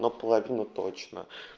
ну половину точно